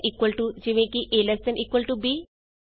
a GT b less than ਜਾਂ equal to easy